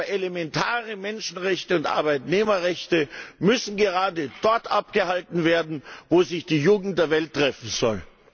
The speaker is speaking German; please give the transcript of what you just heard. Aber elementare Menschenrechte und Arbeitnehmerrechte müssen gerade dort eingehalten werden, wo sich die Jugend der Welt treffen soll.